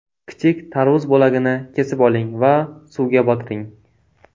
Kichik tarvuz bo‘lagini kesib oling va suvga botiring.